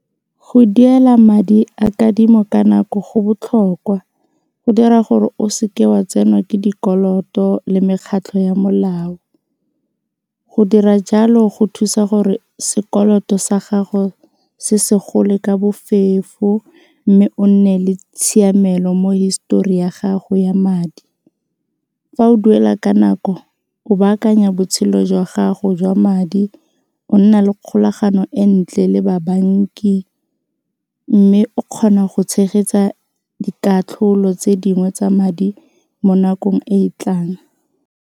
Go duela madi a kadimo ka nako go botlhokwa go dira gore o seke wa tsenwa ke dikoloto le mekgatlho ya molao, go dira jalo go thusa gore sekoloto sa gago se se gole ka bofefo mme o nne le tshiamelo mo histori ya gago ya madi. Fa o duela ka nako o baakanya botshelo jwa gago jwa madi o nna le kgolagano e ntle le ba banki mme o kgona go tshegetsa dikatlholo tse dingwe tsa madi mo nakong e e tlang.